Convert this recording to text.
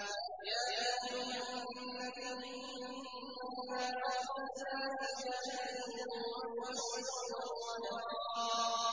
يَا أَيُّهَا النَّبِيُّ إِنَّا أَرْسَلْنَاكَ شَاهِدًا وَمُبَشِّرًا وَنَذِيرًا